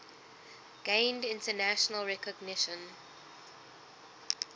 gained international recognition